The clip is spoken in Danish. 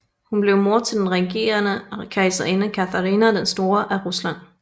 Hun blev mor til den regerende kejserinde Katharina den Store af Rusland